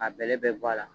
A bɛlɛ bɛɛ bɔ a la